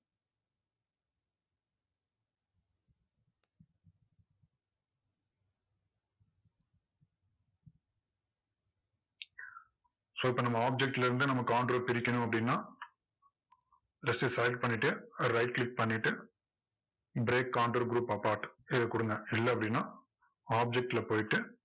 so இப்போ நம்ம object ல இருந்து நம்ம counter அ பிரிக்கணும் அப்படின்னா just slide பண்ணிட்டு right click பண்ணிட்டு break counter group apart இதை கொடுங்க. இல்ல அப்படின்னா object ல போயிட்டு,